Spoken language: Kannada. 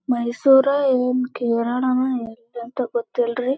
ಈ ಪ್ಲೇಸ್ ಯಾವದೋ ಮೇ ಬಿ ಎಂಟ್ರನ್ಸ್ ಅನ್ಕೊಂತೀನಿ ಅಲ್ಲೊಂದ್ ಬಿಲ್ಡಿಂಗ್ ಕಟಾಕತಾರ.